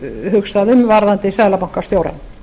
hugsað um varðandi seðlabankastjóra